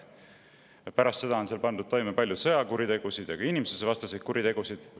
Pärast seda on seal pandud toime palju sõjakuritegusid ja ka inimsusevastaseid kuritegusid.